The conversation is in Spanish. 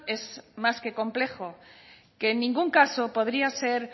es más que complejo que en ningún caso podría ser